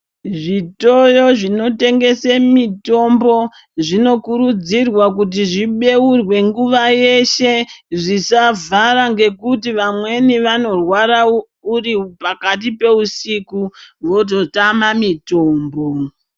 Zvitoro zvinotengese mitombo zvinokurudzirwa kuti zvibeurwe nguwa yeshe, zvisavhara ngekuti vamweni vanorwara uri pakati peusiku vototama mitombo.